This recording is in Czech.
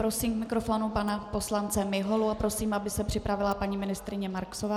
Prosím k mikrofonu pana poslance Miholu a prosím, aby se připravila paní ministryně Marksová.